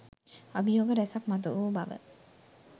අභියෝග රැසක් මතුවූ බව.